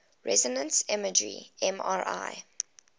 resonance imaging mri